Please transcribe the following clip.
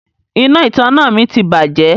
Iná ìtanná mi ti bàjẹ́.